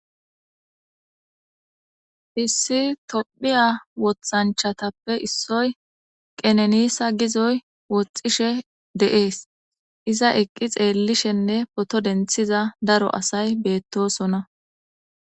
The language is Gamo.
issi tophiya wothanchatappe issoy qenenisa gizoy woxxishe de7ees iza eqqi xeellishenne poto denthiza daro asay beettosona